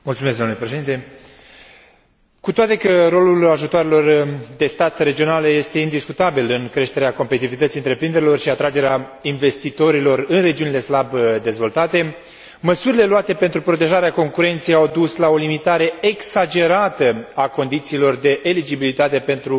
Cu toate că rolul ajutoarelor de stat regionale este indiscutabil în creșterea competitivității întreprinderilor și atragerea investitorilor în regiunile slab dezvoltate, măsurile luate pentru protejarea concurenței au dus la o limitare exagerată a condițiilor de eligibilitate pentru acordarea acestor stimulente.